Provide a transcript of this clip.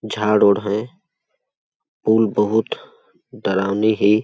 झाड़ उड़ है पुल बहुत डरावनी है।